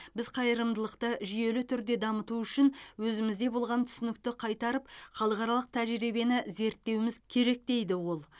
біз қайырымдылықты жүйелі түрде дамыту үшін өзімізде болған түсінікті қайтарып халықаралық тәжірибені зерттеуіміз керек дейді ол